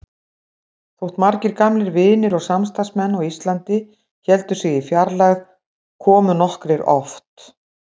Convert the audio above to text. Þótt margir gamlir vinir og samstarfsmenn á Íslandi héldu sig í fjarlægð komu nokkrir oft.